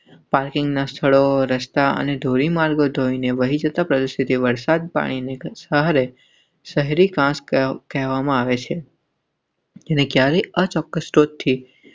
પાર્કિંગના સ્થળો, રસ્તા અને ધોરીમાર્ગો ધોઈને વહી જતા પ્રદર્શિત વરસાદ, પાણીની ઘટ સહારે શહેરી ખાસ કહેવામાં આવે છે.